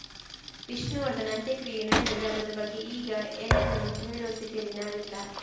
ವಿಷ್ಣುವರ್ಧನ್‌ ಅಂತ್ಯಕ್ರಿಯೆ ನಡೆದ ಜಾಗದ ಬಗ್ಗೆ ಈಗ ಏನನ್ನೂ ಹೇಳುವ ಸ್ಥಿತಿಯಲ್ಲಿ ನಾವಿಲ್ಲ